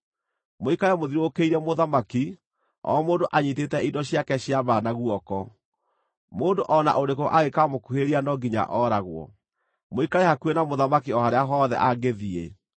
Mũikare mũthiũrũrũkĩirie mũthamaki, o mũndũ anyiitĩte indo ciake cia mbaara na guoko. Mũndũ o na ũrĩkũ angĩkaamũkuhĩrĩria no nginya ooragwo. Mũikare hakuhĩ na mũthamaki o harĩa hothe angĩthiĩ.”